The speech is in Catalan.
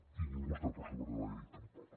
i ningú no està per sobre de la llei tampoc